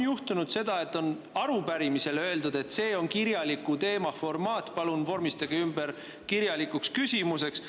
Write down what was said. Juhtus küll seda, et arupärimise peale öeldi, et see on kirjaliku formaat, palun vormistage ümber kirjalikuks küsimuseks.